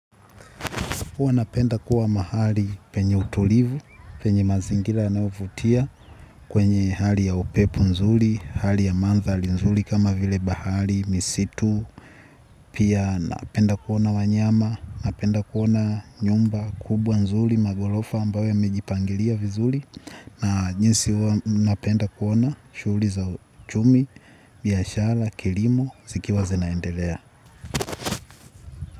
Huwa napenda kuwa mahali penye utulivu, penye mazingira yanyovutia kwenye hali ya upepo nzuri, hali ya mandhari nzuri kama vile bahari, misitu, pia napenda kuona wanyama, napenda kuona nyumba, kubwa nzuri, maghorofa ambayo yamejipangilia vizuri, na jiinsi huwa napenda kuona shghuli za uchumi, biashara, kilimo, zikiwa zenaendelea.